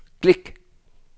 klik